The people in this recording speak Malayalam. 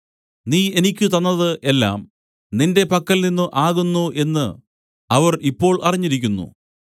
നീ എനിക്ക് തന്നതു എല്ലാം നിന്റെ പക്കൽ നിന്നു ആകുന്നു എന്നു അവർ ഇപ്പോൾ അറിഞ്ഞിരിക്കുന്നു